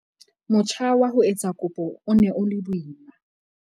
Motjha wa ho etsa kopo o ne o le boima.